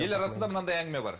ел арасында мынандай әңгіме бар